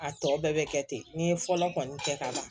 A tɔ bɛɛ bɛ kɛ ten n ye fɔlɔ kɔni kɛ ka